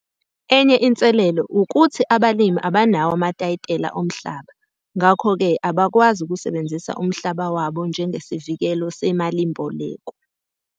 Enye inselelo ukuthi abalimi abanawo amatayitela omhlaba ngakho ke abakwazi ukusebenzisa umhlaba wabo njengesivikelo semalimboleko.